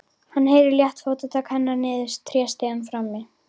Hann heyrir létt fótatak hennar niður tréstigann frammi.